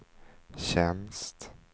tjänst